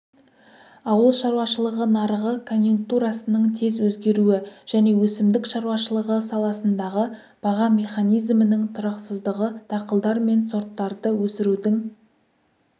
ауыл шаруашылығы нарығы конъюнктурасының тез өзгеруі және өсімдік шаруашылығы саласындағы баға механизмінің тұрақсыздығы дақылдар мен сорттарды өсірудің